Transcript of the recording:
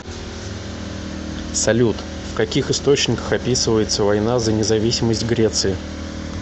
салют в каких источниках описывается война за независимость греции